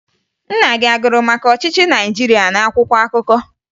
Nna gị a gụrụ maka ọchịchị Naịjirịa n'akwụkwọ akụkọ?